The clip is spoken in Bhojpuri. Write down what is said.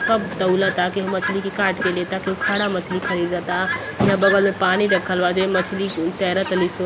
सब तौलता। केहु मछली के काट के लेता केहु खड़ा मछली खरीदता यां बगल मे पानी रखल बा जेमे मछली न् तैर तली स।